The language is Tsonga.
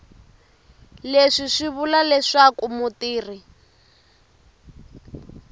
leswi swi vula leswaku mutirhi